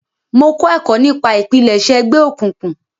Mo kọ ẹkọ nipa ipilẹṣẹ ẹgbẹ okuynkun.